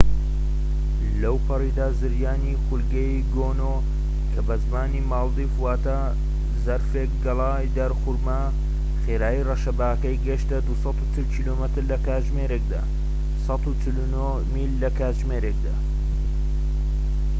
لەوپەڕیدا، زریانی خولگەیی گۆنو، کە بە زمانی مالدیڤ واتە زەرفێك گەڵای دارخورما، خێرایی ڕەشەباکەی گەشتە ٢٤٠ کیلۆمەتر لە کاتژمێرێکدا ١٤٩ میل لە کاتژمێرێكدا